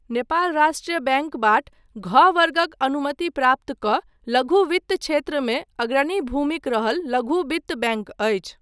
नेपाल राष्ट्र बैंकबाट घ वर्गक अनुमति प्राप्त कऽ लघु वित्त क्षेत्रमे अग्रणी भूमिक रहल लघु बित्त बैंक अछि।